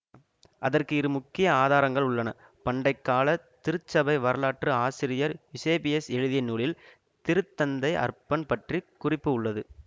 அதற்கு இரு முக்கிய ஆதாரங்கள் உள்ளன பண்டை கால திருச்சபை வரலாற்று ஆசிரியர் யூசேபியஸ் எழுதிய நூலில் திருத்தந்தை அர்பன் பற்றி குறிப்பு உள்ளது